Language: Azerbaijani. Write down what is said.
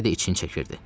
Hələ də için çəkirdi.